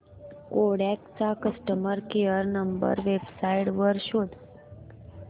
Kodak चा customer care number website वर शोध